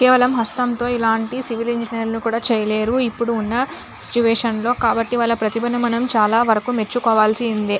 కేవలం హస్తంతో ఇలాంటి సివిల్ ఇంజనీర్లు కూడా చేయలేరు ఇప్పుడు ఉన్న సిచువేషన్ లో కాబట్టి వాళ్ళ ప్రతిభను మనం చాలా వరకు మెచ్చుకోవాల్సిందే.